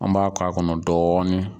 An m'a k'a kɔnɔ dɔɔni.